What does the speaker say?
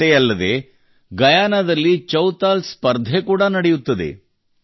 ಅಷ್ಟೇ ಅಲ್ಲದೆ ಗಯಾನಾದಲ್ಲಿ ಚೌತಾಲ್ ಸ್ಪರ್ಧೆ ಕೂಡಾ ನಡೆಯುತ್ತದೆ